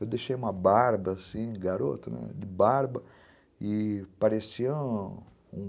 Eu deixei uma barba assim, garoto, de barba, e parecia um...